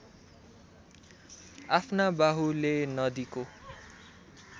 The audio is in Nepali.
आफ्ना बाहुले नदीको